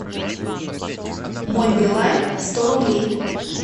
мой билайн сто рублей